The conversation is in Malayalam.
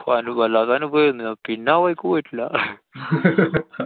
വ~ വല്ലാത്തെ അനുഭവായിരുന്നു. പിന്നെ ആ വഴിക്ക് പോയിട്ടില്ലാ.